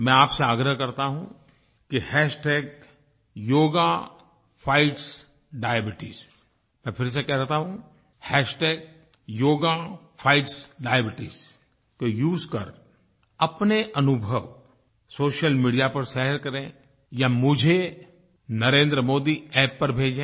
मैं आपसे आग्रह करता हूँ कि हैशटैग योगा फाइट्स डायबीट्स मैं फिर से कह देता हूँ हैशटैग योगा फाइट्स डायबीट्स को उसे कर अपने अनुभव सोशल मीडिया पर शेयर करें या मुझे नरेंद्रमोदी App पर भेजें